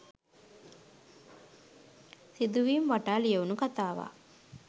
සිදුවීම් වටා ලියවුන කතාවක්.